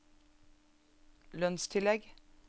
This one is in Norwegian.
lønnstillegg